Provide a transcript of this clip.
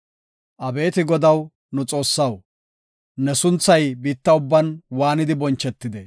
Abeeti Godaw nu Xoossaw, ne sunthay biitta ubban waanidi bonchetide!